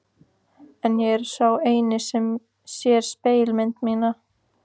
En ég er sá eini sem sér spegilmynd mína.